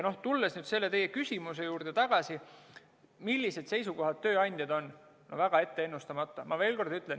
Tulles tagasi teie küsimuse juurde, millisel seisukohal tööandjad on, siis see on väga ennustamatu.